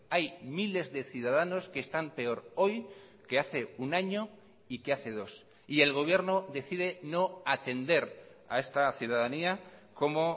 hay miles de ciudadanos que están peor hoy que hace un año y que hace dos y el gobierno decide no atender a esta ciudadanía como